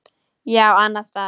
Já, annan stað.